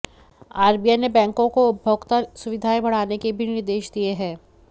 RBI ने बैंकों को उपभोक्ता सुविधाएँ बढ़ाने के भी निर्देश दिए हैं